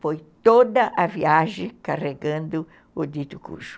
Foi toda a viagem carregando o dito cujo.